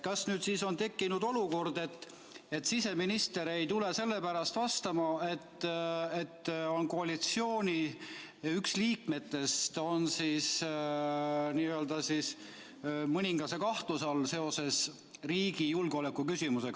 Kas nüüd on tekkinud olukord, kus siseminister ei tule selle pärast vastama, et koalitsiooni üks liikmetest on seoses riigi julgeoleku küsimusega mõningase kahtluse all?